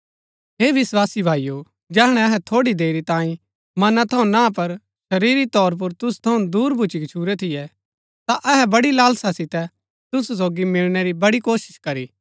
हे विस्वासी भाईओ जैहणै अहै थोड़ी देरी तांई मनां थऊँ ना पर शरीरी तौर पुर तुसु थऊँ दूर भुच्‍ची गच्छुरै थियै ता अहै बड़ी लालसा सितै तुसु सोगी मिलणै री बड़ी कोशिश करी